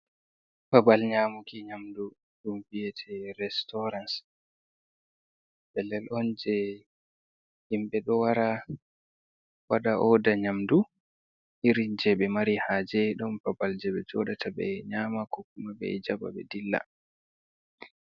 Babal nyamuki nyamdu ɗun vi'ete restaurans. Pellen on jei himɓe ɗo wara, waɗa oda nyamdu, irin jei ɓe mari haje. Ɗon babal jei be jooɗata ɓe nyama, ko kuma ɓe jaɓa ɓe dilla.